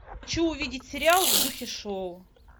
хочу увидеть сериал в духе шоу